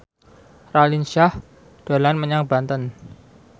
Raline Shah dolan menyang Banten